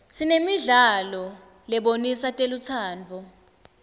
sinanemidlalo lebonisa telutsandvo